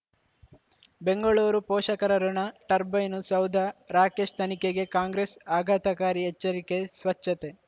ಬೆಂಗಳೂರು ಪೋಷಕರಋಣ ಟರ್ಬೈನು ಸೌಧ ರಾಕೇಶ್ ತನಿಖೆಗೆ ಕಾಂಗ್ರೆಸ್ ಆಘಾತಕಾರಿ ಎಚ್ಚರಿಕೆ ಸ್ವಚ್ಛತೆ